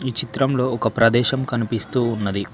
ఈ చిత్రంలో ఒక ప్రదేశం కనిపిస్తూ ఉన్నది.